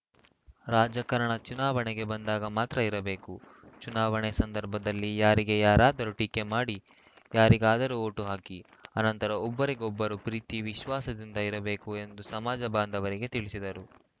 ರಾಜಕಾರಣ ಚುನಾವಣೆಗೆ ಬಂದಾಗ ಮಾತ್ರ ಇರಬೇಕು ಚುನಾವಣೆ ಸಂದರ್ಭದಲ್ಲಿ ಯಾರಿಗೆ ಯಾರಾದರೂ ಟೀಕೆ ಮಾಡಿ ಯಾರಿಗಾದರೂ ಓಟು ಹಾಕಿ ಅನಂತರ ಒಬ್ಬರಿಗೊಬ್ಬರು ಪ್ರೀತಿ ವಿಶ್ವಾಸದಿಂದ ಇರಬೇಕು ಎಂದು ಸಮಾಜ ಬಾಂಧವರಿಗೆ ತಿಳಿಸಿದರು